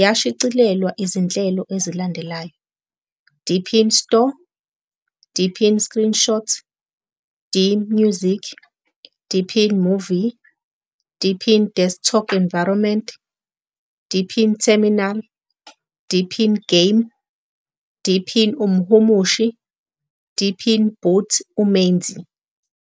yashicilelwa zinhlelo ezilandelayo- Deepin Store, Deepin Screenshot, DMusic, Deepin Movie, Deepin Desktop Environment, Deepin Terminal, Deepin Game, Deepin umhumushi Deepin Boot uMenzi.